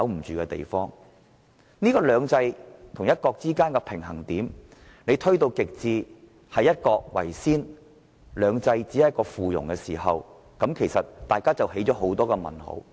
如把"兩制"與"一國"之間的平衡點推到極致，以"一國"為先，"兩制"只屬附庸，香港人便會生出很多問號。